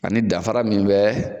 A ni danfara min bɛ